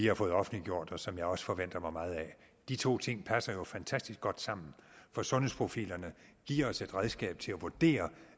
har fået offentliggjort og som jeg også forventer mig meget af de to ting fald passer jo fantastisk godt sammen for sundhedsprofilerne giver os et redskab til at vurdere